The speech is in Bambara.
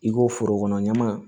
I ko forokɔnɔ ɲaman